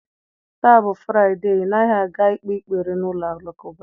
Taa bụ Fraịde, ị naghị aga ikpe ekpere n'ụlọ alakụba?